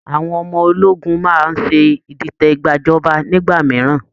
Àwọn ọmọ ológun máa ń ṣe ìdìtẹ̀gbàjọba nígbà mìíràn